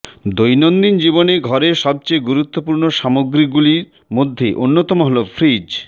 দৈনন্দিন জীবনে ঘরের সবচেয়ে গুরুত্বপূর্ণ সামগ্রীগুলির মধ্য়ে অন্যতম হল ফ্রিজ